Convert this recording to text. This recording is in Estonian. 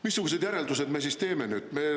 Missugused järeldused me siis teeme nüüd?